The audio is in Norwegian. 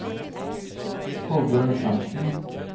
Kolbjørn Frantzen